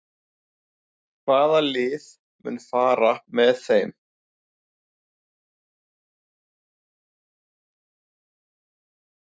Hvaða lið mun fara með þeim?